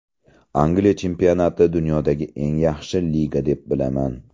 Angliya chempionatini dunyodagi eng yaxshi liga deb bilaman.